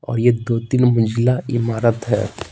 और ये दो-तीन मंजिला ईमारत है।